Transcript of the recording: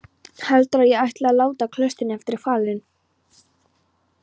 Heldurðu að ég ætli að láta klaustrinu eftir hvalinn?